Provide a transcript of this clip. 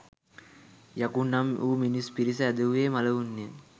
යකුන් නම් වූ මිනිස් පිරිස ඇදහුයේ මළවුන්ය.